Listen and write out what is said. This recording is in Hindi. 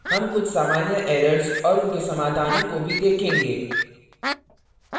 हम कुछ सामान्य errors और उनके समाधानों को भी देखेंगे